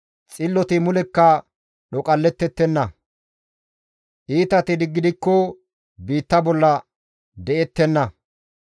Xilloti mulekka dhoqallettettenna; iitati gidikko biitta bolla de7ettenna.